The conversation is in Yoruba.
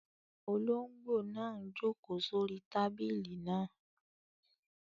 Olóngbò náà n jòkó sórí tábìlì náà